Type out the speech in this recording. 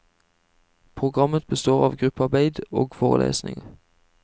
Programmet består av gruppearbeid og forelesninger.